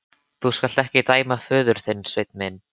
Þú skalt ekki dæma hann föður þinn, Sveinn minn.